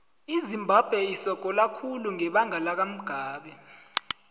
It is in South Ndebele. izimbabwe isogola khulu ngebanga lakamugabe